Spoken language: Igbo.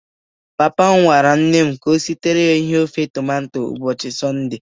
Papa m gwara nne m ka ọ sitiri ya ihe ofe tomato o buchi Sọnde.